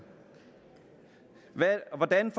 hvordan